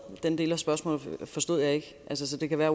den del af spørgsmålet forstod jeg ikke så det kan være